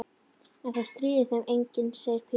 En það stríðir þeim enginn, segir Pína.